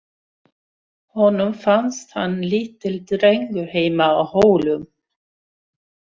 Honum fannst hann lítill drengur heima á Hólum.